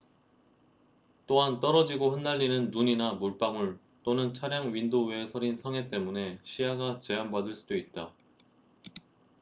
또한 떨어지고 흩날리는 눈이나 물방울 또는 차량 윈도우에 서린 성에 때문에 시야가 제한받을 수도 있다